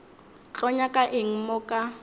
tlo nyaka eng mo ka